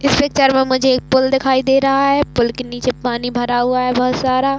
इस पिक्चर में मुझे एक पूल दिखाई दे रहा है पूल के नीचे पानी भरा हुआ है बहोत सारा --